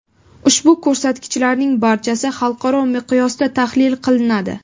Ushbu ko‘rsatkichlarning barchasi xalqaro miqyosda tahlil qilinadi.